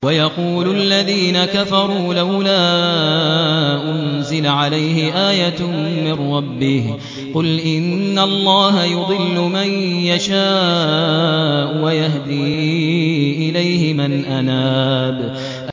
وَيَقُولُ الَّذِينَ كَفَرُوا لَوْلَا أُنزِلَ عَلَيْهِ آيَةٌ مِّن رَّبِّهِ ۗ قُلْ إِنَّ اللَّهَ يُضِلُّ مَن يَشَاءُ وَيَهْدِي إِلَيْهِ مَنْ أَنَابَ